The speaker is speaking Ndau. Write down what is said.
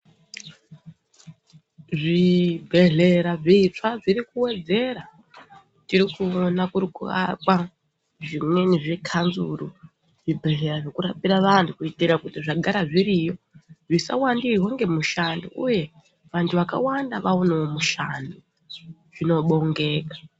Zvibhedhlera zvitsva zviri kuwedzera tiri kuona kuri kuakwa zvimweni zvekanzuru zvibhedhlera zvekurapira vantu kuitira kuti zvagara zviriyo zvisawandirwa ngemushando uye vantu vakawanda vaonewo mushando zvinobongeka.